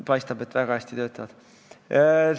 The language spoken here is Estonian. Paistab, et need "väga hästi" töötavad.